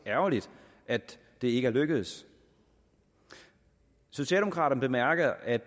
ærgerligt at det ikke er lykkedes socialdemokraterne bemærker at